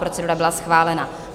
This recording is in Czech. Procedura byla schválena.